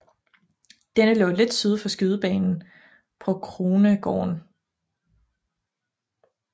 Denne lå lidt syd for skydebanen på Krohnegården